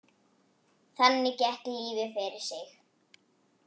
Þannig gekk lífið fyrir sig.